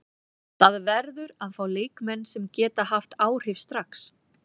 Það verður að fá leikmenn sem geta haft áhrif strax.